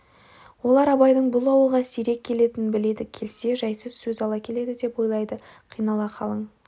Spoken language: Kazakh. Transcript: олар абайдың бұл ауылға сирек келетінін біледі келсе жайсыз сөз ала келеді деп ойлайды айнала қалың